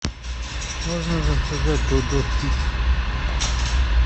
можно заказать додо пиццу